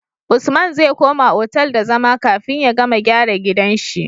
Usman zai koma otal da zama kafin ya gama gyara gidan shi